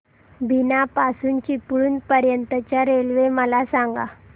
बीना पासून चिपळूण पर्यंत च्या रेल्वे मला सांगा